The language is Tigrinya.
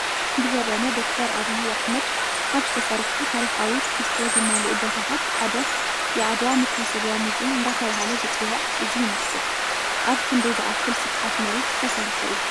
ብዘበነ ዶ/ር ኣብይ ኣሕመድ ካብ ዝተሰርሑ ታሪካዊ ትሕዝቶ ዘማልኡ ቦታታት ሓደ የዓድዋ መታሰብያ ሙዝየም እንዳተባህለ ዝፅዋዕ እዚ ይመስል፡፡ ኣብ ክንደይ ዝኣክል ስፍሓት መሬት ዝተሰርሐ እዩ?